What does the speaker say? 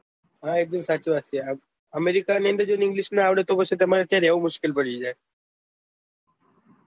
હા એકદમ સાચી વાત છે આમ english ના આવડે તો પછી ત્યાં રેહવું મુશ્કેલ પડી જાય